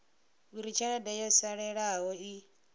uri tshelede yo salelaho i